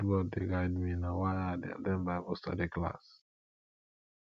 god word dey guide me na why i dey at ten d bible study class